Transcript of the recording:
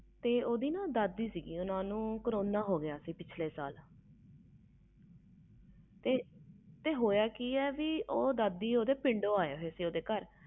ਤੇ ਓਹਦੇ ਦਾਦੀ ਸੀ ਓਹਨੂੰ ਕਰੋਨਾ ਹੋ ਗਿਆ ਸੀ ਹੋਇਆ ਕਿ ਸੀ ਦਾਦੀ ਓਹਦੇ ਪਿੰਡੋ ਆਏ ਸੀ ਘਰ